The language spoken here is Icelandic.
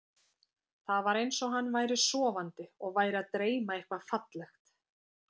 Það var eins og hann væri sofandi og væri að dreyma eitthvað fallegt.